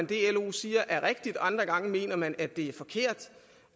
det lo siger er rigtigt og andre gange mener man at det er forkert